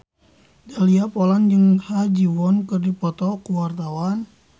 Dahlia Poland jeung Ha Ji Won keur dipoto ku wartawan